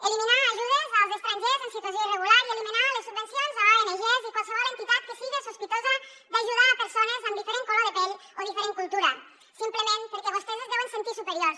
eliminar ajudes als estrangers en situació irregular i eliminar les subvencions a ongs i qualsevol entitat que sigui sospitosa d’ajudar persones amb diferent color de pell o diferent cultura simplement perquè vostès es deuen sentir superiors